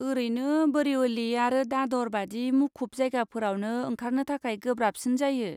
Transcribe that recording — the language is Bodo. ओरैनो, बरिवली आरो दादर बादि मुखुब जायगाफोरावनो ओंखारनो थाखाय गोब्राबसिन जायो।